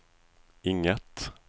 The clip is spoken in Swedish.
inget